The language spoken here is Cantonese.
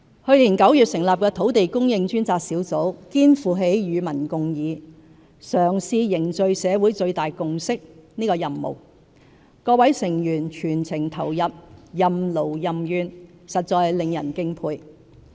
去年9月成立的土地供應專責小組肩負起與民共議，嘗試凝聚社會最大共識的任務，各成員全情投入，任勞任怨，實在令人敬佩。